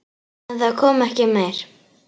En það kom ekki meira.